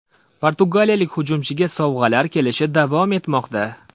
Portugaliyalik hujumchiga sovg‘alar kelishi davom etmoqda.